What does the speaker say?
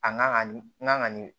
A kan ka ni